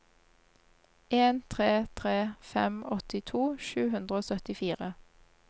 en tre tre fem åttito sju hundre og syttifire